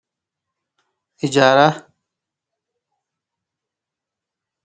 Hijaara hijaarranni garaati yaate